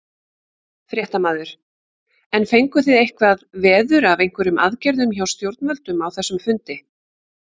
Fréttamaður: En fenguð þið eitthvað veður af einhverjum aðgerðum hjá stjórnvöldum á þessum fundi?